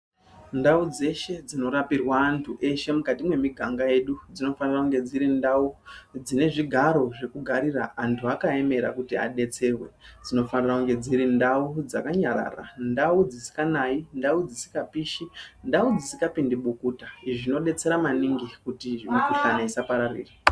Ndau dzeshe dzinorapirwe antu eshe mukati mwemiganga yedu dzinofana kunge dziri ndau dzine zvigaro zvekuugarira antu akaemera kuti adetserwe dzinofanira kunge dziri ndau dzakanyarara , ndau dzisinganai, ndau dzisingapishi, ndau dzisingapindi bukuta izvi zvinodetsera maningi kuti mikuhlani isapararira.